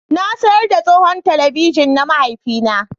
Na sayar da tsohon talabijin na mahaifina